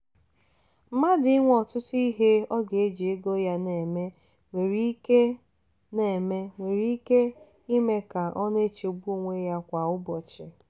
mmadụ inwe ọtụtụ ihe ọ ga-eji ego ya na-eme nwere ike na-eme nwere ike ime ka ọ na-echegbu onwe ya kwa ụbọchị.